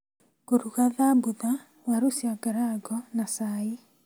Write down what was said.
Ngũruga thabutha, waru cia ngarango na cai